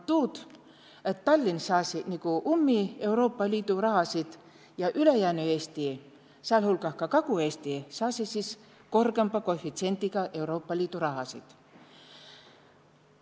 And tuud, et Tallinn saasi nigu ummi Euroopa Liidu rahasid ja ülejäänü Eesti, säälhulgah Kagu-Eesti, saasi siis korgõmba koefitsiendiga Euroopa Liidu rahasid.